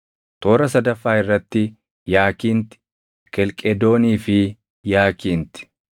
toora sadaffaa irratti yaakinti, kelqedoonii fi yaakinti,